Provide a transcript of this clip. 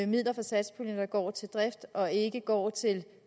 midler fra satspuljen der går til drift og ikke går til